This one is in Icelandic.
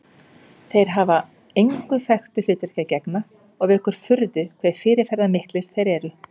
Þeir hafa engu þekktu hlutverki að gegna og vekur furðu hve fyrirferðarmiklir þeir eru.